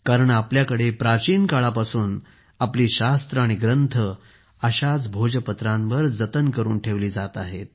कारण आपल्याकडे प्राचीन काळापासून आपली शास्त्रे आणि ग्रंथ अशाच भोजपत्रांवर जतन करून ठेवली जात आहेत